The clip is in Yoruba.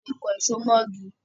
A le kan ìṣo mó igi.